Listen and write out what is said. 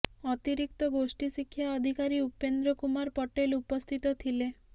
ଅତିରିକ୍ତ ଗୋଷ୍ଠୀ ଶିକ୍ଷା ଅଧିକାରୀ ଉପେନ୍ଦ୍ର କୁମାର ପଟେଲ ଉପସ୍ଥିତ ଥିଲେ